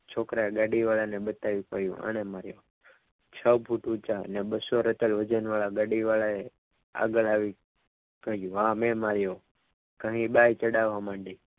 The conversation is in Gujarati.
છોકરાની ગાડીવાળા એ બતાવ્યું કોણે મારી બસ્સો કીલો વજનવાળા ગાડીવાળા એ આગળ આવી સામે માર્યો વળી ભાવ બાય ચઢાવવા માંડ્યા.